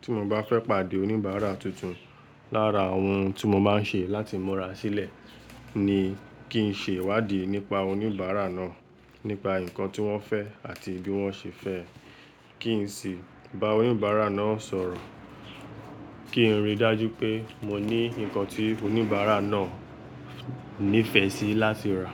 tí mo bá fẹ́ pàdé oníbàárà tuntun lára ohun tí mo má ń ṣe láti múra sílẹ̀ ni kí n ṣe ìwádìí nípa oníbàárà náà, nípa nǹkan tí wọ́n fẹ́ àti bí wọ́n ṣe fẹ́ ẹ. Kí n sì bá oníbàárà náà sọ̀rọ̀, kí n rí i dájú pé mo ní nǹkan tí oníbàárà náà nífẹ̀ẹ́ sí láti rà.